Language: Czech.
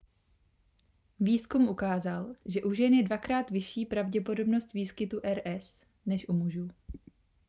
výzkum ukázal že u žen je dvakrát vyšší pravděpodobnost výskytu rs než u mužů